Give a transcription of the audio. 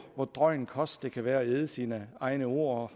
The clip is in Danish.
drøj en kost det kan være at æde sine egne ord og